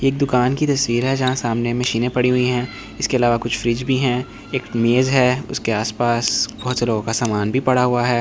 एक दुकान के तस्वीरें के जहाँ सामने मीचेने पड़ी हुयी हैं इसके अलावा कुछ फ्रिज भी हैं एक मेज़ हैं उसके आस पास बहोत सारा का सामन भी पड़ा हुआ इसके --